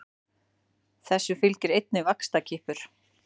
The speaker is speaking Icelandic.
Þessu fylgir einnig vaxtarkippur.